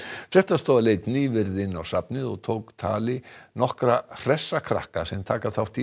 fréttastofa leit nýverið inn á bókasafnið og tók tali nokkra hressa krakka sem taka þátt í